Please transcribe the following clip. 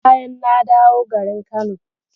Bayan na dawo garin Kano.